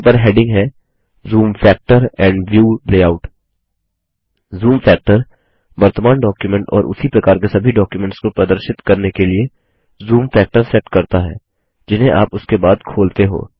इन पर हेडिंग है zoom factor and view layout zoom factor वर्तमान डॉक्युमेंट और उसी प्रकार के सभी डॉक्युमेंट्स को प्रदर्शित करने के लिए जूम फैक्टर सेट करता है जिन्हें आप उसके बाद खोलते हो